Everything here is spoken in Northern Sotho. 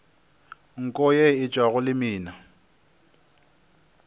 nko ye e tšwago lemina